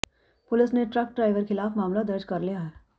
ਪੁਲਸ ਨੇ truck driver ਖਿਲਾਫ ਮਾਮਲਾ ਦਰਜ ਕਰ ਲਿਆ ਹੈ